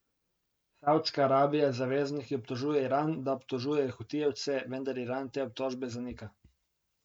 Savdska Arabija z zavezniki obtožuje Iran, da oborožuje hutijevce, vendar Iran te obtožbe zanika.